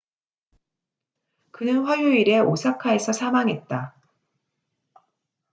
그는 화요일에 오사카에서 사망했다